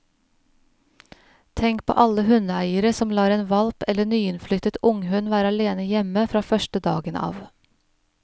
Tenk på alle hundeeiere som lar en hvalp eller nyinnflyttet unghund være alene hjemme fra første dagen av.